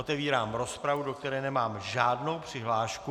Otevírám rozpravu, do které nemám žádnou přihlášku.